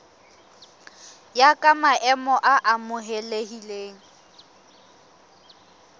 ya ka maemo a amohelehileng